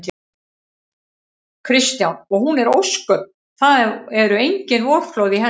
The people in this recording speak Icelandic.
Kristján: Og hún er ósköp. það eru engin vorflóð í henni?